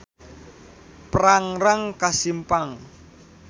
Prangrang ka Simpang.